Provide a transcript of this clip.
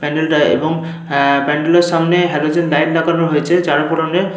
প্যান্ডেল টা এবংআহ প্যান্ডেল এর সামনে হ্যালোজেন লাইট লাগানো রয়েছে চার ধরনের।